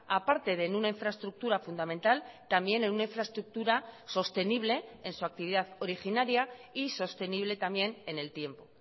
a parte de en una infraestructura fundamental también en una infraestructura sostenible en su actividad originaria y sostenible también en el tiempo